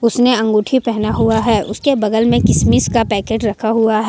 उसने अंगूठी पहना हुआ है उसके बगल में किशमिश का पैकेट रखा हुआ--